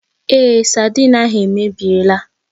Èé, saidin ahụ èmèbịèlà